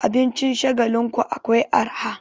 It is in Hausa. Abincin Shagalinku akwai arha.